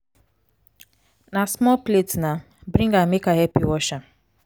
na small plate na bring am make i help you wash am